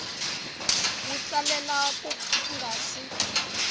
wi tsalela ku nga si